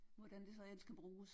Hvordan det så end skal bruges